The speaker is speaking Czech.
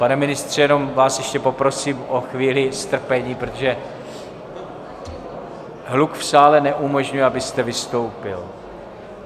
Pane ministře, jenom vás ještě poprosím o chvíli strpení, protože hluk v sále neumožňuje, abyste vystoupil.